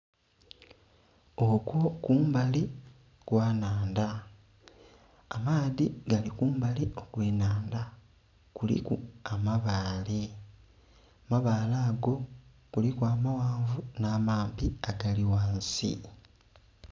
Okwo kumbali kwa nhandha amaadhi gali kumbali okwe nhandha kuliku amabale, amabale ago kuliku amaghanvu nha mampi agali ghansi.